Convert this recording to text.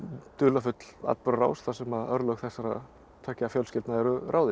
dularfull atburðarás þar sem örlög þessara tveggja fjölskyldna eru ráðin